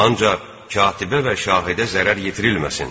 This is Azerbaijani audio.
Ancaq katibə və şahidə zərər yetirilməsin.